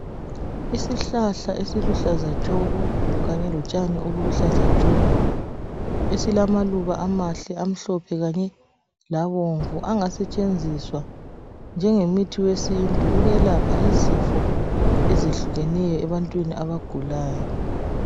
Isihlahla esiluhlaza tshoko kanye lotshani obuluhlaza tshoko silamaluba amahle amhlophe kanye labomvu angasetshenziswa njengomuthi wesintu ukwelapha izifo ezehlukeneyo ebantwini abagulayo.